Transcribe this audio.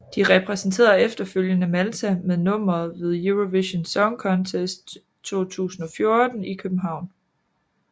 De repræsenterede efterfølgende Malta med nummeret ved Eurovision Song Contest 2014 i København